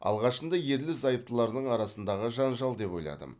алғашында ерлі зайыптылардың арасындағы жанжал деп ойладым